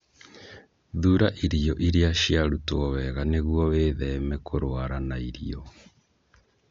Thuura irio iria ciarutwo wega nĩguo wĩtheme kũrũara na irio.